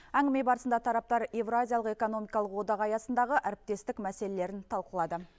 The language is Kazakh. әңгіме барысында тараптар еуразиялық экономикалық одақ аясындағы әріптестік мәселелерін талқылады